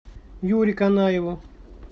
юре канаеву